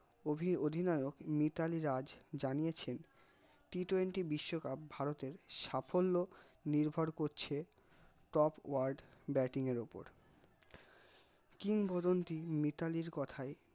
অভি অধিনায়ক মিতালী রাজ জানিয়েছেন, t twenty বিশ্বকাপ ভারতের সাফল্য নির্ভর করছে top word batting এর ওপর কিংবদন্তি মিতালীর কথায়